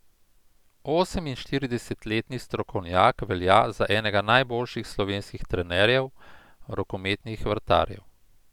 Oseminštiridesetletni strokovnjak velja za enega najboljših slovenskih trenerjev rokometnih vratarjev.